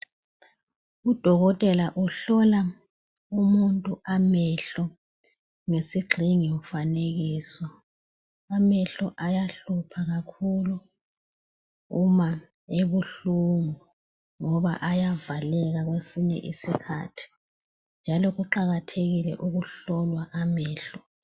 Udokotela uhlola umuntu amehlo ngesigxingi mfanekiso. Amehlo ayahlupha kakhulu uma ebuhlungu ngoba ayavaleka kwesinye isikhathi njalo kuqakathekile ukuhlolwa amehlo.